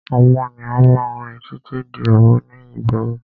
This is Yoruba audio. Àwọn ènìyàn máa ń rìn títí di òru ní ìgboro.